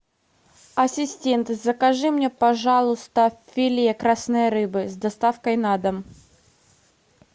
ассистент закажи мне пожалуйста филе красной рыбы с доставкой на дом